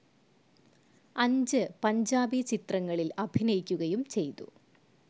അഞ്ച് പഞ്ചാബി ചിത്രങ്ങളിൽ അഭിനയിക്കുകയും ചെയ്തു.